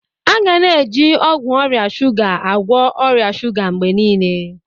A ga na-eji ọgwụ ọrịa shuga agwọ ọrịa shuga mgbe niile.